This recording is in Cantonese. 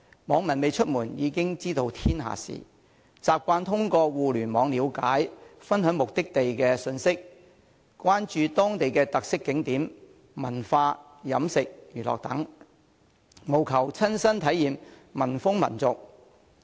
網民未出門已知天下事，習慣通過互聯網了解和分享目的地信息，關注當地的特色景點、文化、飲食、娛樂等，務求親身體驗民風民俗。